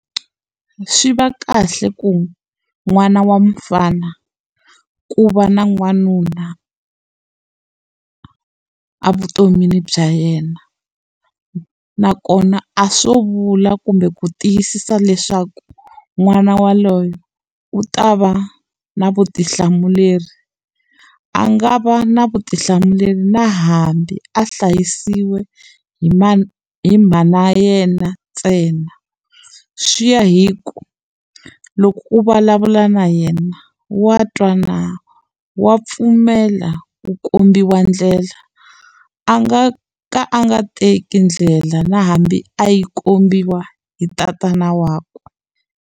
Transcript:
Swi va kahle ku n'wana wa mfana ku va na n'wanuna evutomini bya yena nakona a swo vula kumbe ku tiyisisa leswaku n'wana waloye u ta va na vutihlamuleri a nga va na vutihlamuleri na hambi a hlayisiwa hi ma hi mhana yena ntsena swi ya hi ku loko u vulavula na yena wa twa na wa pfumela ku kombiwa ndlela a nga ka a nga teki ndlela na hambi a yi kombiwa hi tatana wakwe.